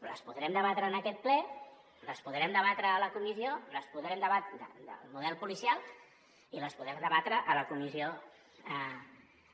però les podrem debatre en aquest ple les podrem debatre a la comissió del model policial i les podrem debatre a la comissió